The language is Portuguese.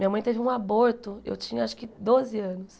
Minha mãe teve um aborto, eu tinha acho que doze anos.